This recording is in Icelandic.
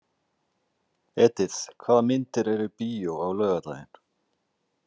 Edith, hvaða myndir eru í bíó á laugardaginn?